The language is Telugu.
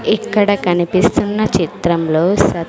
ఇక్కడ కనిపిస్తున్న చిత్రంలో స--